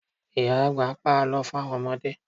Ìyá àgbà ń pa Àlọ́ fún àwọn ọmọdé